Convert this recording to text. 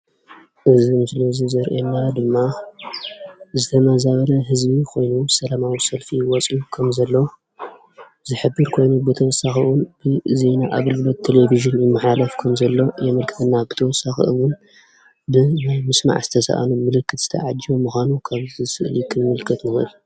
እዚ ምስሊ እዚ ዘርእየና ድማ ዝተመዛበሉ ህዝቢ ኮይኖም ሰላማዊ ሰልፊ ይወፅዩ ከምዘለዉ ዝሕብር ኮይኑ ብተወሳኺ እውን እዚ ናይ ኣገልግሎት ቴለቨዥን ይመሓለፍ ከምዘሎ የመልክተና፡፡ ብተወሳኺ እውን ድምፂ ናይ ምስማዕ ዝተሳእኖ ምልክት ተዓጂቡ ምዃኑ ካብዚ ስእሊ ክንምልከት ንኽእል፡፡